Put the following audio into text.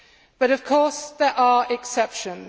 But, of course, there are exceptions.